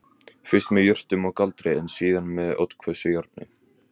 Fyrst með jurtum og galdri en síðan með oddhvössu járni